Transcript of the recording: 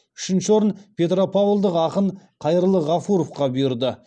үшінші орын петропавлдық ақын қайырлы ғафуровқа бұйырды